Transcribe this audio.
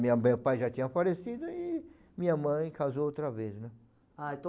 Minha, meu pai já tinha falecido e minha mãe casou outra vez, né? Ah, então